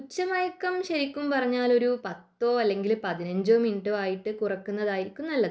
ഉച്ചമയക്കം ശരിക്കും പറഞ്ഞാൽ ഒരു പത്തു അല്ലെങ്കിൽ പതിനഞ്ചോ ആയിട്ട് കുറക്കുന്നതായിരിക്കും നല്ലത്